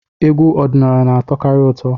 Egwu ọdịnala na-atọkarị ụtọ.